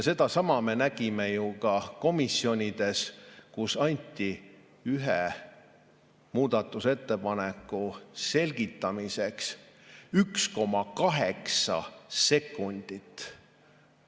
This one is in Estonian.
Sedasama me nägime ju ka komisjonides, kus anti ühe muudatusettepaneku selgitamiseks 1,8 sekundit.